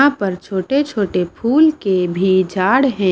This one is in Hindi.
यहां पर छोटे-छोटे फूल के भी झाड है।